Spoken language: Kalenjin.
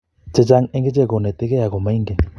chechang eng icheek konetigie ago maingen